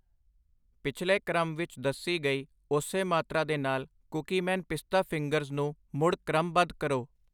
ਪਿਛਲੇ ਕ੍ਰਮ ਵਿੱਚ ਦੱਸੀ ਗਈ ਉਸੇ ਮਾਤਰਾ ਦੇ ਨਾਲ ਕੂਕੀਮੈਨ ਪਿਸਤਾ ਫਿੰਗਰਸ ਨੂੰ ਮੁੜ ਕ੍ਰਮਬੱਧ ਕਰੋ।